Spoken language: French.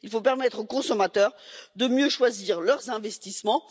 Il faut permettre aux consommateurs de mieux choisir leurs investissements.